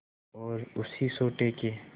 और उसी सोटे के